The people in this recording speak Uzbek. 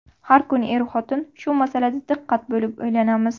Har kuni er-xotin shu masalada diqqat bo‘lib, o‘ylanamiz.